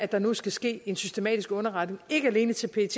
der nu skal ske en systematisk underretning ikke alene til pet